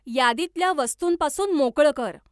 यादीतल्या वस्तूंपासून मोकळं कर.